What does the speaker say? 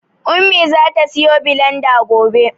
Ummi zata siyo bilanda gobe.